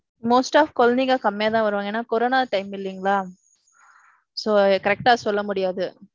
most டா குழந்தைங்க கம்மியா தான் வருவாங்க, ஏன்னா corona time இல்லிங்களா. so, correct டா சொல்ல முடியாது.